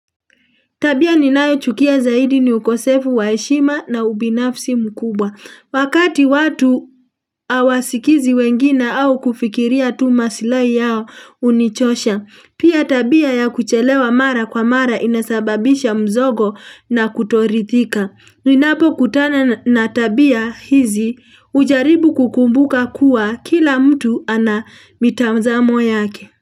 Tabia ninayochukia zaidi ni ukosefu wa heshima na ubinafsi mkubwa. Wakati watu hawasikizi wengine au kufikiria tu masilai yao hunichosha. Pia tabia ya kuchelewa mara kwa mara inasababisha mzogo na kutoridhika. Ninapokutana na tabia hizi hujaribu kukumbuka kuwa kila mtu ana mitazamo yake.